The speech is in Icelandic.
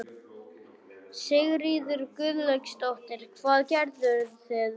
Sigríður Guðlaugsdóttir: Hvað gerðuð þið?